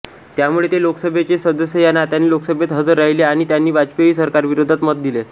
त्यामुळे ते लोकसभेचे सदस्य या नात्याने लोकसभेत हजर राहिले आणि त्यांनी वाजपेयी सरकारविरोधात मत दिले